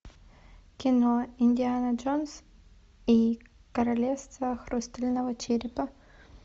кино индиана джонс и королевство хрустального черепа